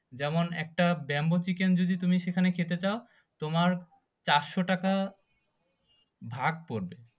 যেমন একটা bamboo chicken তুমি যদি সেখানে খেতে চাও তোমার চারশো টাকা ভাগ পড়বে